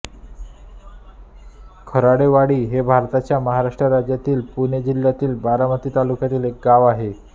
खराडेवाडी हे भारताच्या महाराष्ट्र राज्यातील पुणे जिल्ह्यातील बारामती तालुक्यातील एक गाव आहे